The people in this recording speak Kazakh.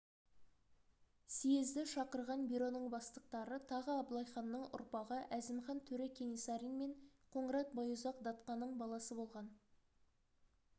съезді шақырған бюроның бастықтары тағы абылайханның ұрпағы әзімхан төре кенесарин мен қоңырат байұзақ датқаның баласы болған